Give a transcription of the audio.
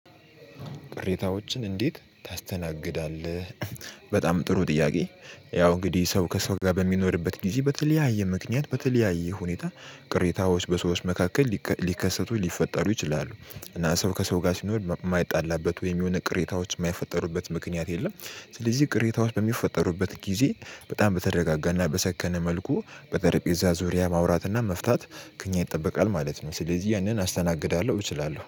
ቅሬታዎችን እንዴት ታስተናግዳለህ? በጣም ጥሩ ጥያቄ። ያው እንግዲህ ሰው ከሰው ጋር በሚኖርበት ጊዜ በተለያየ ምክንያት በተለያየ ሁኔታ ቅሬታዎች በሰዎች መካከል ሊከሰቱ ሊፈጠሩ ይችላሉ። እና ሰው ከሰው ጋር ሲኖር የማይጣላበት ወይም የሆነ ቅሬታዎች የማይፈጠሩበት ምክንያት የለም። ስለዚህ ቅሬታዎች በሚፈጠሩበት ጊዜ በጣም በተረጋጋና በሰከነ መልኩ በጠረጴዛ ዙሪያ ማውራትና መፍታት ከእኛ ይጠበቃል ማለት ነው። ስለዚህ ያንን አስተናግዳለሁ እችላለሁ